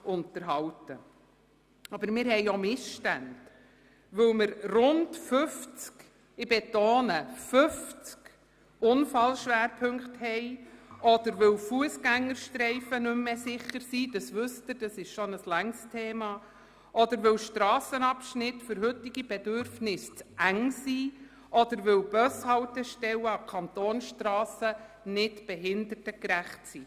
Wir haben auch Missstände, weil wir rund 50 – ich betone: 50 – Unfallschwerpunkte haben, oder weil Fussgängerstreifen nicht mehr sicher sind – wissen Sie, dies ist bereits ein grosses Thema –, oder weil Strassenabschnitte für heutige Bedürfnisse zu eng oder Bushaltestellen an Kantonsstrassen nicht behindertengerecht sind.